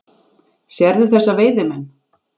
Sérðu þessa veiðimenn?